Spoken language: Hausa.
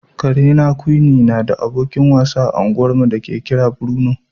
Karena Quinnie na da abokin wasa a unguwarmu da ake kira Bruno.